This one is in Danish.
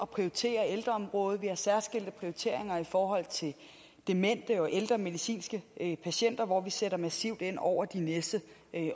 prioritere ældreområdet vi har særskilte prioriteringer i forhold til demente og ældre medicinske patienter hvor vi sætter massivt ind over de næste